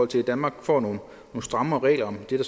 til at danmark får nogle strammere regler om det